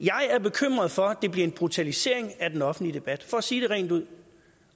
jeg er bekymret for at det bliver en brutalisering af den offentlige debat for at sige det rent ud